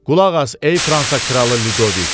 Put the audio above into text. Qulaq as, ey Fransa kralı Ludoviq.